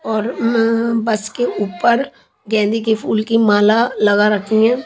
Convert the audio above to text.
और उम्म बस के ऊपर गेंदे के फूल की माला लगा रखी हैं।